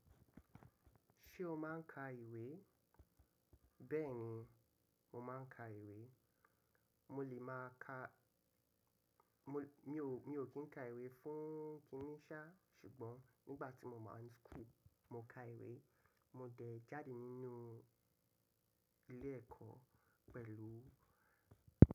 Ṣé o máa ń ka ìwé? Bẹ́ẹ̀ni, mo máa ń ka ìwé. Mo lè máa ka-- mi ò kí ń ka ìwé fún kíní sá ṣùgbọ́n nígbà tí mo wa ń school, mo ka ìwé. Mo dẹ̀ jáde nínú ilé ẹ̀kọ́ pẹ̀lú.